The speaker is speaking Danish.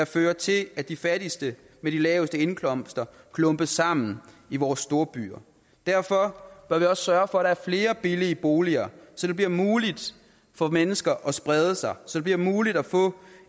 fører til at de fattigste med de laveste indkomster klumpes sammen i vores storbyer derfor bør vi også sørge for er flere billige boliger så det bliver muligt for mennesker at sprede sig så det bliver muligt at få